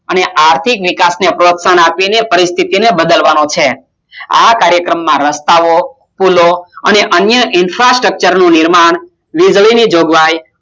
અને આર્થિક વિકાસને પ્રોત્સાહન આપીને પરિસ્થિતિને બદલવાનો છે આ કાર્યક્રમમાં રસ્તાઓ પૂલો અને અન્ય infrastructure નિર્માણ વીજળીની જોગવાઈ